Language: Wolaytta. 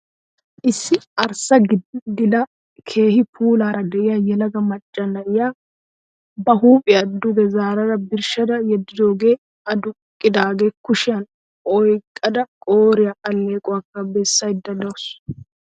Issi arssa gidada keehi puulaara de'iya yelaga macca na'iya ba huuphiya duge zaara birshshada yeddoogee aduqqidaagaa kushiyan oyqqada qooriya alleequwakka bessaydda de'awusu.